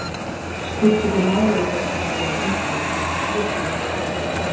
Skipti ekki máli þótt hann væri með inflúensu, þótt sjúklingur kallaði.